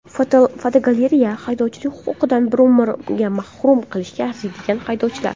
Fotogalereya: Haydovchilik huquqidan bir umrga mahrum qilishga arziydigan haydovchilar.